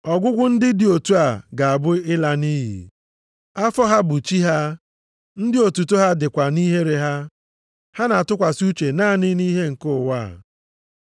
Ọgwụgwụ ndị dị otu a ga-abụ ịla nʼiyi. Afọ ha bụ chi ha, ndị otuto ha dịkwa nʼihere ha. Ha na-atụkwasị uche naanị nʼihe nke ụwa.